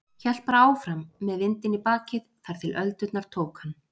Hélt bara áfram, með vindinn í bakið, þar til öldurnar tóku hann.